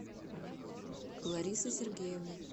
ларисы сергеевны